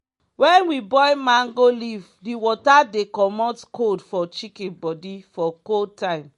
wen we boil mango leaf di water dey comot cold for chicken bodi for cold time.